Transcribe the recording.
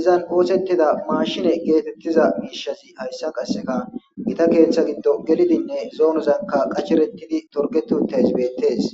izan oosettida maashine geetettiza miishazi hayssa qassika gita keeththa giddo gelidinne zoonozakka qasherettidi xorggetti7uttays bettees.